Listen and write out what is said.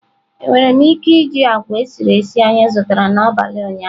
Enwere m ike iji agwa esiri esi anyị zụtara n'abalị ụnyaahụ?